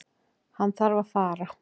Hann þarf að fara.